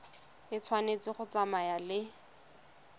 e tshwanetse go tsamaya le